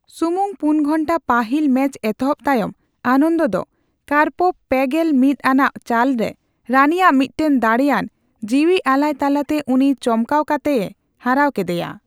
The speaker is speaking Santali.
ᱥᱩᱢᱩᱝ ᱯᱩᱱ ᱜᱷᱚᱱᱴᱟ ᱯᱟᱹᱦᱤᱞᱼᱢᱮᱪ ᱮᱛᱚᱦᱚᱵ ᱛᱟᱭᱚᱢ, ᱟᱱᱚᱱᱫᱚ ᱫᱚ ᱠᱟᱨᱯᱚᱵ ᱯᱮᱜᱮᱞ ᱢᱤᱛ ᱟᱱᱟᱜ ᱪᱟᱞ ᱨᱮ ᱨᱟᱱᱤᱭᱟᱜ ᱢᱤᱫᱴᱮᱱ ᱫᱟᱲᱮᱭᱟᱱ ᱡᱤᱭᱤᱟᱞᱟᱭ ᱛᱟᱞᱟᱛᱮ ᱩᱱᱤᱭ ᱪᱚᱢᱠᱟᱣ ᱠᱟᱛᱮ ᱮ ᱦᱟᱨᱟᱣ ᱠᱮᱫᱮᱭᱟ ᱾